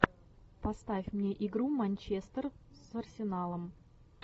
поставь мне игру манчестер с арсеналом